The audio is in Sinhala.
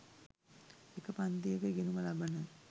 එක පන්තියක ඉගෙනුම ලබන